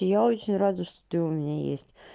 и я очень рада что ты у меня есть